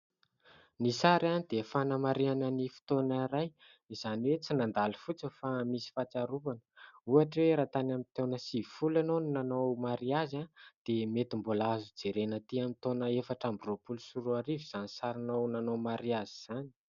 Ny sary dia fanamarihana ny fotoana iray, izany hoe tsy mandalo fotsiny fa misy fahatsiarovana, ohatra hoe: raha tany amin'ny taona sivifolo ianao no nanao mariazy, dia mety mbola azo jerena ety amin'ny taona efatra amby roapolo sy roarivo izany sarinao nanao mariazy izany.